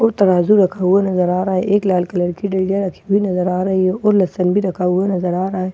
और तराज़ू रखा हुआ नजर आ रहा है एक लाल कलर की डलियां रखी हुई नजर आ रही है और लहसन भी रखा हुआ नजर आ रहा है ।